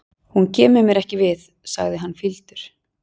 Hún kemur mér ekki við, sagði hann fýldur.